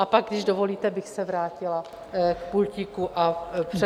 A pak, když dovolíte, bych se vrátila k pultíku a přednesla svou řeč.